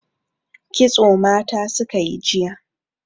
Kitso mata suka yi jiya.